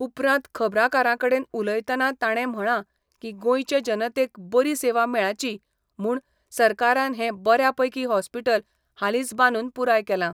उपरान्त खबरा कारांकडेन उलयताना ताणें म्हळा की गोंयचे जनतेक बरी सेवा मेळाची म्हुण सरकारान हें बऱ्यापैकी हॉस्पिटल हालीच बांदून पुराय केला.